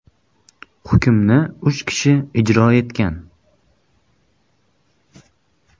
Hukmni uch kishi ijro etgan.